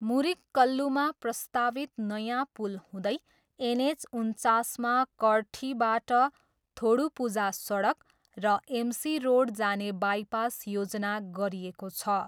मुरिक्कल्लूमा प्रस्तावित नयाँ पुल हुँदै एनएच उन्चासमा कडठीबाट थोडुपुझा सडक र एमसी रोड जाने बाइपास योजना गरिएको छ।